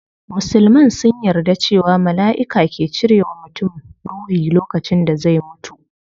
Musulman sun yarda cewa malaiki ke cire wa mutum ruhi lokacin da zai mutu